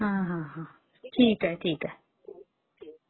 हा हा....ठीक आहे...ठीक आहे